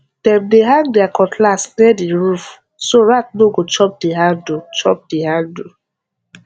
dem dey hang their cutlass near the roof so rat no go chop the handle chop the handle